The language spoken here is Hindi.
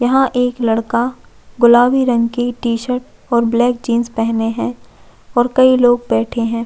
यहाँ एक लड़का गुलाबी रंग की टीशर्ट और ब्लैक जीन्स पहने है और कई लोग बैठे है।